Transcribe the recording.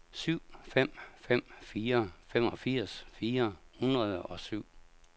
syv fem fem fire femogfirs fire hundrede og syv